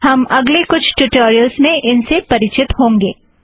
हम अगले कुछ ट्युटोरियलस में इन से परिचित होंगे